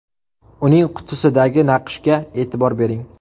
Uning qutisidagi naqshga e’tibor bering.